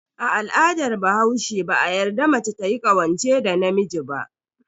A al'adar bahaushe, ba a yarda mace tayi ƙawance da namiji ba.